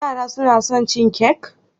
Yara suna son cin kek?